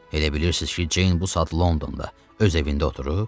Elə bilirsiz ki, Ceyn bu saat Londonda öz evində oturub?